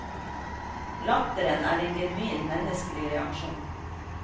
Latteren er en genuin menneskelig reaksjon.